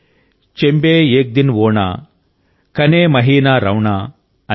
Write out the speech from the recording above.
చంబే ఏక్ దిన్ ఓణాకనే మహీనా రౌణాఅని